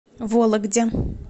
вологде